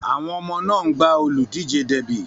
Àwọn ọmọ náà ń gbá olùdíje derby.